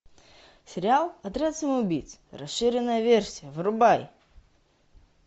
сериал отряд самоубийц расширенная версия врубай